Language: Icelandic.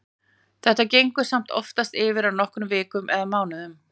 Þetta gengur samt oftast yfir á nokkrum vikum eða mánuðum.